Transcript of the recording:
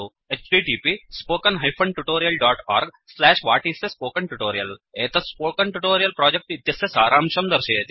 1 एतत् spoken tutorial project इत्यस्य सारांशं दर्शयति